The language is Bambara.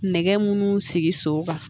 Nɛgɛ munnu sigi so kan